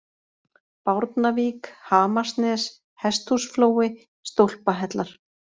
Bárnavík, Hamarsnes, Hesthúsflói, Stólpahellar